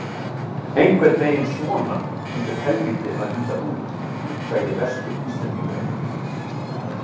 Einhvern veginn svona hlýtur helvíti að líta út, sagði Vestur- Íslendingurinn.